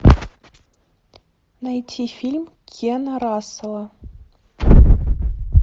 найти фильм кена рассела